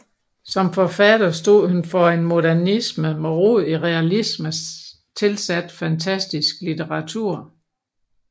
Som forfatter stod hun for en modernisme med rod i realisme tilsat fantastisk litteratur